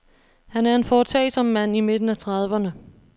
Han er en foretagsom mand i midten af trediverne.